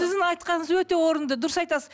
сіздің айтқаныңыз өте орынды дұрыс айтасыз